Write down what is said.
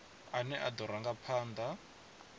ane a do ranga phanda